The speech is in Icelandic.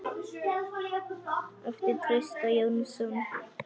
eftir Trausta Jónsson